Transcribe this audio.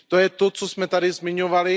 To je to, co jsme tady zmiňovali.